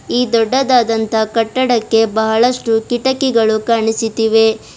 ಈ ದೊಡ್ಡದಾದಂತ ಕಟ್ಟಡಕ್ಕೆ ಬಹಳಷ್ಟು ಕಿಟಕಿಗಳು ಕಾಣಿಸುತ್ತಿವೆ.